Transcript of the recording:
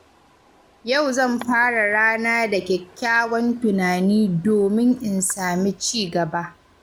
Yau zan fara rana da kyakkyawan tunani domin in sami ci gaba